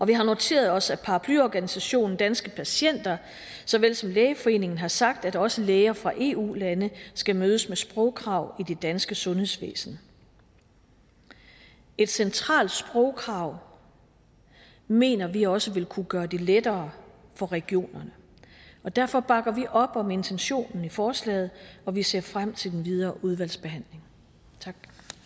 vi har noteret os at paraplyorganisationen danske patienter såvel som lægeforeningen har sagt at også læger fra eu lande skal mødes med sprogkrav i det danske sundhedsvæsen et centralt sprogkrav mener vi også vil kunne gøre det lettere for regionerne derfor bakker vi op om intentionen i forslagene og vi ser frem til en videre udvalgsbehandling tak